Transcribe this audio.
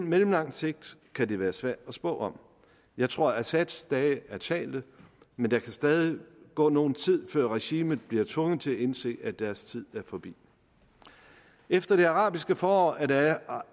mellemlang sigt går kan det være svært at spå om jeg tror assads dage er talte men der kan stadig gå nogen tid før regimet bliver tvunget til at indse at dets tid er forbi efter det arabiske forår er der